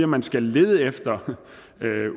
man skal lede efter